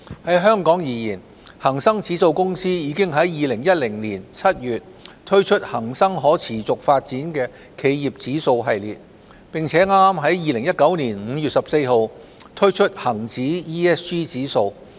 在香港而言，恒生指數公司已在2010年7月推出恒生可持續發展企業指數系列，並剛在2019年5月14日推出恒指 ESG 指數。